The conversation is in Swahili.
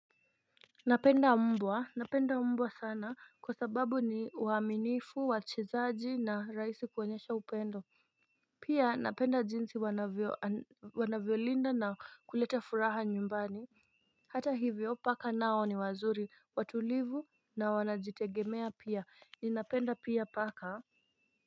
Napenda mbwa napenda mbwa sana kwa sababu ni uaminifu wachezaji na rahisi kuonyesha upendo Pia napenda jinsi wanavyo wanavyolinda na kuleta furaha nyumbani Hata hivyo paka nao ni wazuri watulivu na wanajitegemea pia ni napenda pia paka.